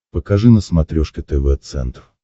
покажи на смотрешке тв центр